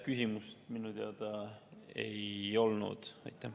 Küsimust minu arusaamise järgi ei olnud.